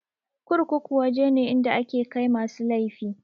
Kurkuku waje ne inda ake kai masu laifi.